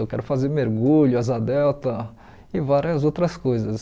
Eu quero fazer mergulho, asa delta e várias outras coisas.